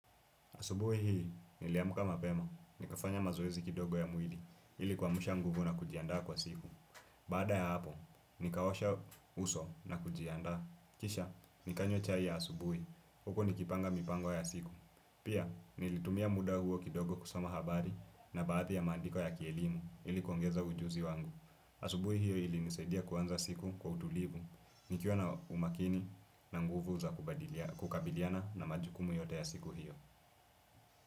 Asubuhi hii, niliamka mapema, nikafanya mazoezi kidogo ya mwili, ili kuamsha nguvu na kujiandaa kwa siku. Baada ya hapo, nikaosha uso na kujianda. Kisha, nikanywa chai ya asubuhi huku nikipanga mipango ya siku. Pia, nilitumia muda huo kidogo kusoma habari na baadhi ya maandiko ya kielimu ili kuingeza ujuzi wangu. Asubuhi hio ilinisaidia kuanza siku kwa utulivu, nikiwa na umakini na nguvu za kukabiliana na majukumu yote ya siku hio.